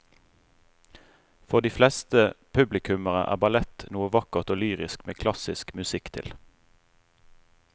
For de fleste publikummere er ballett noe vakkert og lyrisk med klassisk musikk til.